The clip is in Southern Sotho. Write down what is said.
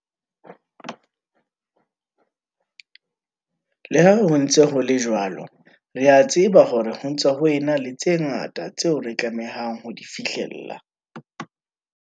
Le ha ho ntse ho le jwalo, re a tseba hore ho ntse ho ena le tse ngata tseo re tlamehang ho di fihlella.